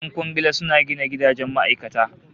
Yan kwangila suna gina gidajen ma'aikata